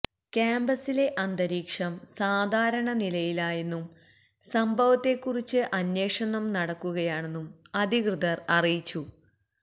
കാമ്പസിലെ അന്തരീക്ഷം സാധാരണ നിലയിലായെന്നും സംഭവത്തേക്കുറിച്ച് അന്വേഷണം നടക്കുകയാണെന്നും അധികൃതര് അറിയിച്ചു